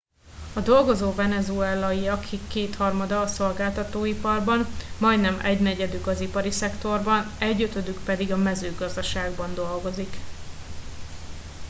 a dolgozó venezuelaiak kétharmada a szolgáltatóiparban majdnem egynegyedük az ipari szektorban egyötödük pedig a mezőgazdaságban dolgozik